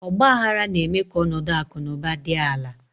Ọgbaaghara na-eme ka ọnọdụ akụ na ụba dị ala.